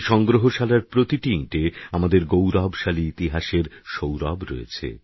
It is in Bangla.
এই সংগ্রহশালার প্রতিটি ইঁটে আমাদের গৌরবশালী ইতিহাসের সৌরভ রয়েছে